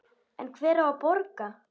En hver á að borga?